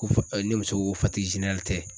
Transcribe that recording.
Ko fo ne muso ko fatigi zenerali tɛ